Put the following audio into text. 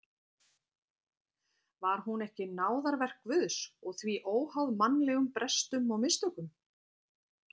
Var hún ekki náðarverk Guðs og því óháð mannlegum brestum og mistökum?